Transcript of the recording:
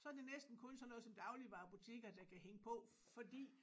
Så det næsten kun sådan noget som dagligvarebutikker der kan hænge på fordi